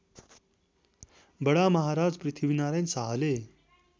बडामहाराज पृथ्वीनारायण शाहले